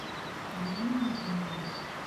марина гилева